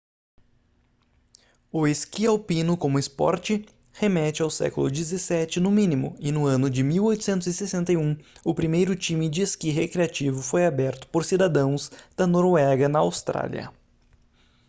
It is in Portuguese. o esqui alpino como esporte remete ao século 17 no mínimo e no ano de 1861 o primeiro time de esqui recreativo foi aberto por cidadãos da noruega na austrália